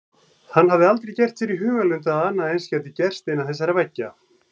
Hann hafði aldrei gert sér í hugarlund að annað eins gæti gerst innan þessara veggja.